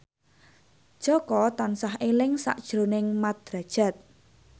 Jaka tansah eling sakjroning Mat Drajat